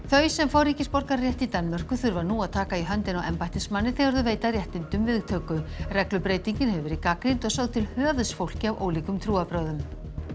þau sem fá ríkisborgararétt í Danmörku þurfa nú að taka í höndina á embættismanni þegar þau veita réttindunum viðtöku reglubreytingin hefur verið gagnrýnd og sögð til höfuðs fólki af ólíkum trúarbrögðum